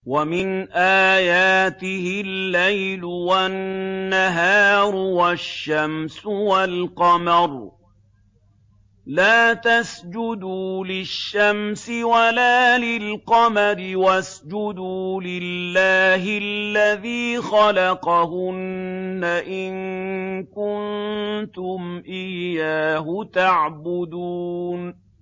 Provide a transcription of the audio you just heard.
وَمِنْ آيَاتِهِ اللَّيْلُ وَالنَّهَارُ وَالشَّمْسُ وَالْقَمَرُ ۚ لَا تَسْجُدُوا لِلشَّمْسِ وَلَا لِلْقَمَرِ وَاسْجُدُوا لِلَّهِ الَّذِي خَلَقَهُنَّ إِن كُنتُمْ إِيَّاهُ تَعْبُدُونَ